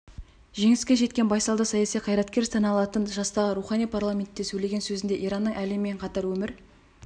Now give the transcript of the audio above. жеңіске жеткен байсалды саяси қайраткер саналатын жастағы роухани парламентте сөйлеген сөзінде иранның әлеммен қатар өмір